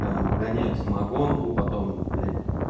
выгоняют самогонку потом блядь